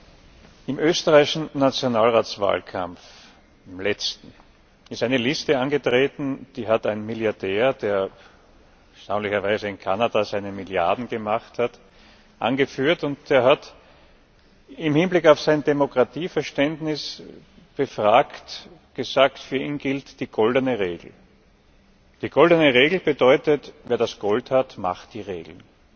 Im letzten österreichischen Nationalratswahlkampf ist eine Liste angetreten, die hat ein Milliardär, der erstaunlicherweise in Kanada seine Milliarden gemacht hat, angeführt, und er hat, im Hinblick auf sein Demokratieverständnis befragt, gesagt, für ihn gilt die goldene Regel. Die goldene Regel bedeutet Wer das Gold hat, macht die Regeln.